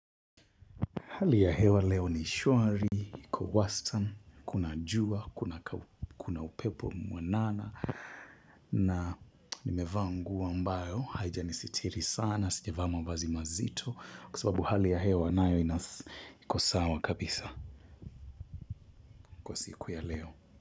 Hali ya hewa leo ni shwari iko wastani kuna jua kuna upepo mwanana na nimevaa nguo ambayo, haijanisitiri sana, sijavaa mavazi mazito, kwa sababu hali ya hewa nayo iko sawa kabisa kwa siku ya leo.